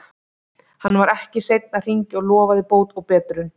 Hann var ekki seinn að hringja og lofaði bót og betrun.